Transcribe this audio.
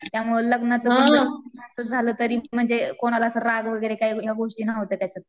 त्यामुळं लग्नाचं झालं तरी म्हणजे कोणाला असं राग वगैरे या गोष्टी नाही होतात त्याच्यात.